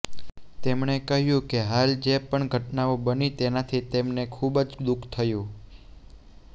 તેમણે કહ્યું કે હાલ જે પણ ઘટનાઓ બની તેનાથી તેમને ખુબ જ દુખ થયું